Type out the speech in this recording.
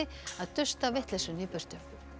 að dusta vitleysuna í burtu